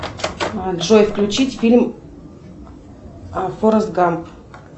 джой включить фильм форест гамп